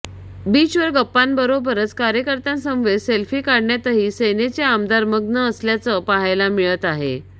बीचवर गप्पांबरोबरच कार्यकर्त्यांसमवेत सेल्फी काढण्यातही सेनेचे आमदार मग्न असल्याचं पाहायला मिळत आहे